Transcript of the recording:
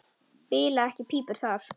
Bila ekki pípur þar.